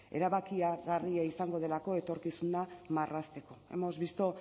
erabakigarria izango delako etorkizuna marrazteko hemos visto